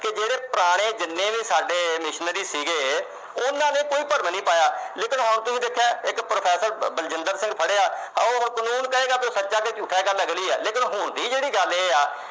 ਜਿਹੜੇ ਪੁਰਾਣੇ ਜਿੰਨੇ ਵੀ ਸਾਡੇ missionaries ਸੀਗੇ, ਉਹਨਾਂ ਨੇ ਕੋਈ ਭਰਮ ਨੀ ਪਾਇਆ, ਲੇਕਿਨ ਹੁਣ ਤੁਸੀਂ ਦੇਖਿਆ ਇੱਕ professor ਬਲਜਿੰਦਰ ਸਿੰਘ ਫੜਿਆ, ਉਹ ਕਾਨੂੰਨ ਕਹੇਗਾ ਉਹ ਸੱਚਾ ਜਾਂ ਝੂਠਾ ਤਾਂ ਲੱਗਣੀ ਆ। ਲੇਕਿਨ ਹੁਣ ਦੀ ਜਿਹੜੀ ਗੱਲ ਉਹ ਇਹ ਆ